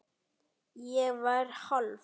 Ég var hálf